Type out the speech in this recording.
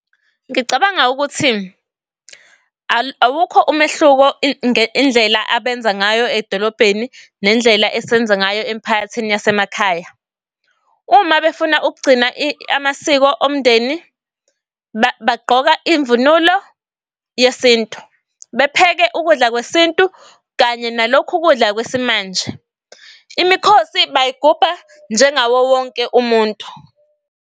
Ngicabanga ukuthi awukho umehluko ngendlela abenza ngayo edolobheni nendlela esenza ngayo emphakathini yasemakhaya. Uma befuna ukugcina amasiko omndeni. Bagqoka mvunulo yesintu bepheke ukudla kwesintu kanye nalokhu kudla kwesimanje. Imikhosi bayigubha njengawo wonke umuntu.